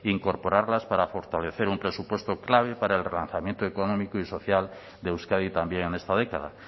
incorporarlas para fortalecer un presupuesto clave para el relanzamiento económico y social de euskadi también en esta década